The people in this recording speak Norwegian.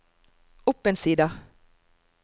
opp en side